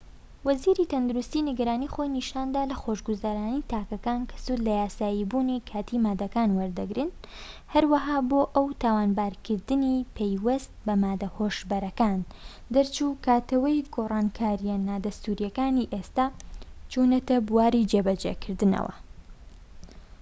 وەزیری تەندروستی نیگەرانی خۆی نیشاندا لە خۆشگوزەرانی تاکەکان کە سوود لە یاساییبوونی کاتی ماددەکان وەردەگرن هەروەها بۆ ئەو تاوانبارکردنی پەیوەست بە ماددە هۆشبەرەکان دەرچووە کاتەوەی گۆڕانکاریە نادەستووریەکانی ئێستا چوونەتە بواری جێبەجێکردنەوە